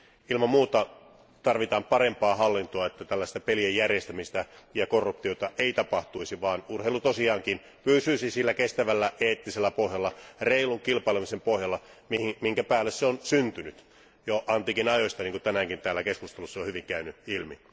Ilman muuta tarvitaan parempaa hallintoa, että tällaista pelien järjestämistä ja korruptiota ei tapahtuisi, vaan urheilu tosiaankin pysyisi sillä kestävällä eettisellä pohjalla, reilun kilpailemisen pohjalla, jonka päälle se on syntynyt jo antiikin aikoina, niin kuin tänäänkin täällä keskusteluissa on hyvin käynyt ilmi.